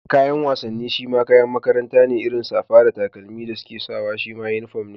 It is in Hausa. Kayan wasanni shima kayan makaranta ne, irin safa da takalman da suke sawa shima uniform ne.